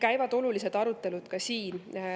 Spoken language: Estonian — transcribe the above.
Nii et olulised arutelud käivad ka siin.